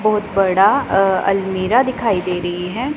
बहोत बड़ा अ अलमिरा दिखाई दे रही है।